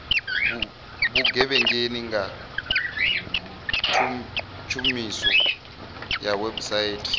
vhugevhenga nga tshumiso ya website